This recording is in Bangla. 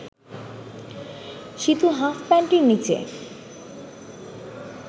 সীতু হাফ প্যান্টের নীচে